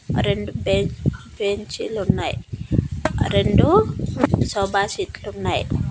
రెండు బెన్ బెంచీలు ఉన్నాయి రెండు సోఫా సెట్లు ఉన్నాయి.